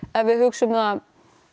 ef við hugsum það